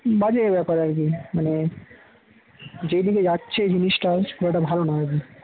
বাজে ব্যাপার আর কি মানে যেদিকে যাচ্ছে এই জিনিসটা সেটা ভালো নয় আর কি